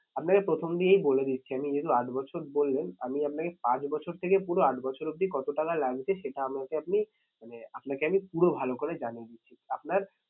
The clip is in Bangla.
আপনাকে প্রথম দিকেই বলে দিচ্ছি আপনি যেহেতু আট বছর বললেন আমি আপনাকে পাঁচ বছর থেকে পুরো আট বছর অবধি কত টাকা লাগবে সেটা আমাকে আপনি মানে আপনাকে আমি পুরো ভালো করে জানিয়ে দিচ্ছি। আপনার